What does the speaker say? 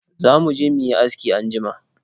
Za mu je mu yi aski anjima.